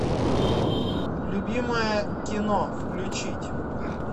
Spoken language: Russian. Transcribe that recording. любимое кино включить